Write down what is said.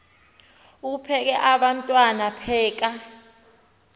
uphekel abantwana pheka